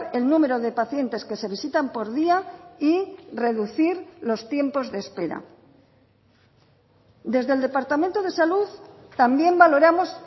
el número de pacientes que se visitan por día y reducir los tiempos de espera desde el departamento de salud también valoramos